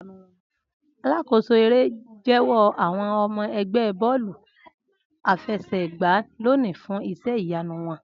Alakoso ere n jẹwọ àwọn ọmọ ẹgbẹ bọ́ọ̀lú àfẹsẹ̀gbá loni fun iṣẹ iyanu wọn.